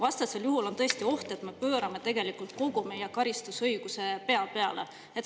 Vastasel juhul on tõesti oht, et me pöörame kogu meie karistusõiguse pea peale.